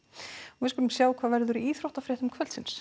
við skulum sjá hvað verður í íþróttafréttum kvöldsins